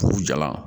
K'u jalan